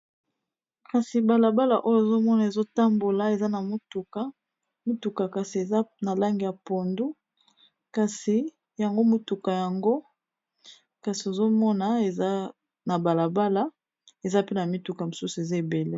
Kasi balabala oyo ezomona ezotambola, eza na motuka kasi eza na lange ya pondu, kasi yango motuka yango kasi ozomona eza na balabala, eza pe na mituka mosusu eza ebele.